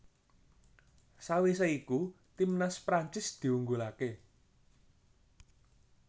Sawisé iku timnas Prancis diunggulaké